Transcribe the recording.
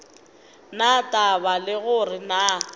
na taba le gore na